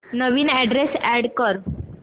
नवीन address add कर